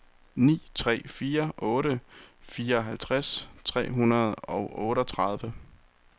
ni tre fire otte fireoghalvtreds tre hundrede og otteogtredive